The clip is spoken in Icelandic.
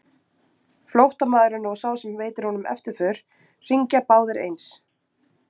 Flóttamaðurinn og sá sem veitir honum eftirför hringja báðir eins.